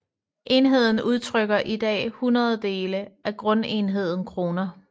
Enheden udtrykker i dag hundrededele af grundenheden kroner